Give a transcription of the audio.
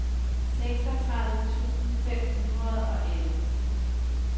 seksogtredive tusind fem hundrede og elleve